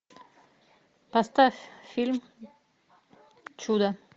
поставь фильм чудо